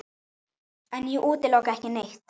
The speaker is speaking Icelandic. En ég útiloka ekki neitt.